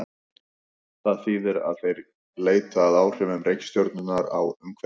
Það þýðir að þeir leita að áhrifum reikistjörnunnar á umhverfi sitt.